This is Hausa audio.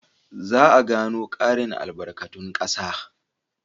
Za a gano ƙarin albarkatun ƙasa.